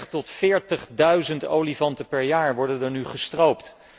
Dertig tot veertigduizend olifanten per jaar worden er nu gestroopt.